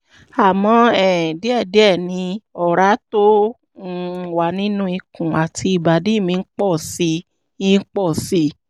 àmọ́ um díẹ̀díẹ̀ ni ọ̀rá tó um wà nínú ikùn àti ìbàdí mi ń pọ̀ sí i pọ̀ sí i